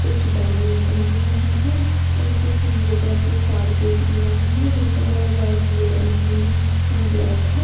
कुछ बैडमिंटन भी यहां है और कुछ योगा के कारपेट भी यहां है जिनका colour red blue and green and black है।